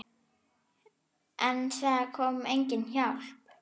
En það kom engin hjálp.